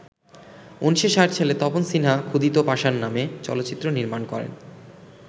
১৯৬০ সালে তপন সিনহা ‘ক্ষুধিত পাষাণ’ নামে চলচ্চিত্র নির্মাণ করেন।